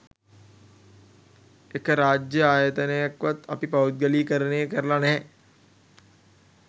එක රාජ්‍ය ආයතනයක්වත් අපි පෞද්ගලීකරණය කරලා නැහැ